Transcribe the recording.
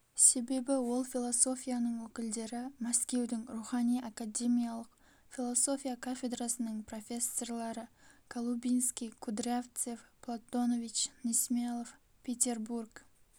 себебі ол философияның өкілдері мәскеудің рухани академиялық философия кафедрасының профессорлары голубинский кудрявцев платонович несмелов петербург